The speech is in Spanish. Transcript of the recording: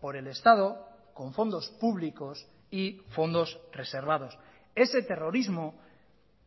por el estado con fondos públicos y fondos reservados ese terrorismo